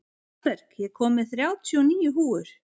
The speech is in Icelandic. Hallberg, ég kom með þrjátíu og níu húfur!